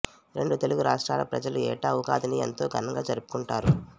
రెండు తెలుగు రాష్ట్రాల ప్రజలు ఏటా ఉగాదిని ఎంతో ఘనంగా జరుపుకుంటారు